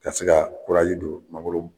Ka se ka don mangoro